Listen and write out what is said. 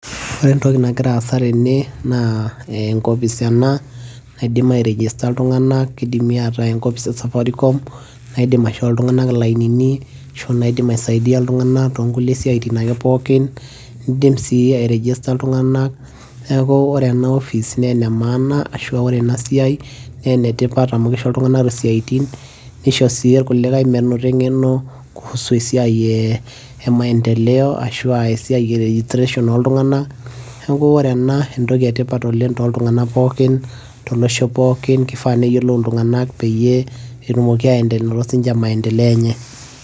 ore entoki nagira aasa tene naa enkopis ena naidim aerejesta iltung'anak kidimi ataa enkopis e safaricom naidim aishoo iltung'anak ilainini ashu naidim aisaidia iltung'anak tonkulie siaitin ake pookin nidim sii aerejesta iltung'anak neeku ore ena office naa ene maana ashua ore ena siai naa enetipat amui kisho iltung'anak isiaitin nisho sii irkulikae menoto eng'eno kuhusu esiai e maendeleo ashua esiai e nutrition oltung'anak neeku ore ena entoki etipat oleng toltung'anak pookin tolosho pookin kifaa neyiolou iltung'anak peyie etumoki aende anoto sininche maendeleo enye.